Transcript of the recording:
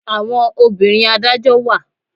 Àwọn obìnrin adájọ́ wà.